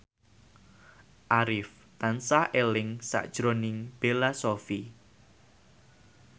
Arif tansah eling sakjroning Bella Shofie